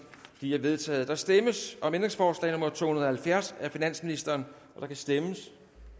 de er vedtaget der stemmes om ændringsforslag nummer to hundrede og halvfjerds af finansministeren der kan stemmes